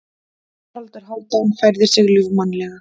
Haraldur Hálfdán færði sig ljúfmannlega.